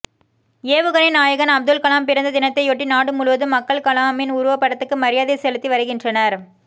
ஏவுகணை நாயகன் அப்துல் கலாம் பிறந்த தினத்தையொட்டி நாடு முழுவதும் மக்கள் கலாமின் உருவப்படத்துக்கு மரியாதை செலுத்தி வருகின்றனர்